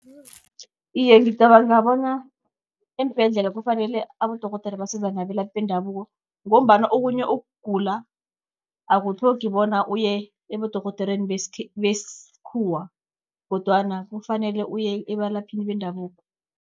Iye, ngicabanga bona eembhedlela kufanele abodorhodere basizane nabelaphi bendabuko, ngombana okunye ukugula akutlhogi bona uye ebedorhodereni besikhuwa kodwana kufanele uye ebalaphini bendabuko.